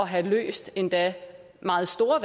have løst endda meget store